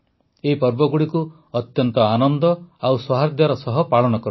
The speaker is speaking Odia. ଏହି ପର୍ବଗୁଡ଼ିକୁ ଅତ୍ୟନ୍ତ ଆନନ୍ଦ ଓ ସୌହାର୍ଦ୍ଦର ସହ ପାଳନ କରନ୍ତୁ